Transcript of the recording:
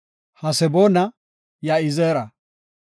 Haseboona, Ya7izeera.